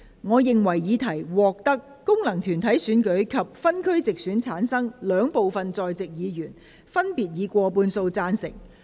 我認為議題獲得經由功能團體選舉產生及分區直接選舉產生的兩部分在席議員，分別以過半數贊成。